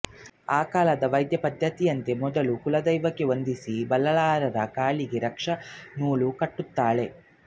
ಆ ಕಾಲದ ವೈದ್ಯ ಪದ್ಧತಿಯಂತೆ ಮೊದಲು ಕುಲ ದೈವಕ್ಕೆ ವಂದಿಸಿ ಬಲ್ಲಾಳರ ಕಾಲಿಗೆ ರಕ್ಷೆಯ ನೂಲು ಕಟ್ಟುತ್ತಾಳೆ